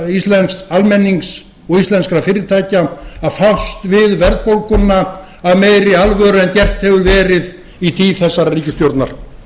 íslensks almennings og íslenskra fyrirtækja að fást við verðbólguna af meiri alvöru en gert hefur verið í tíð þessara ríkisstjórnar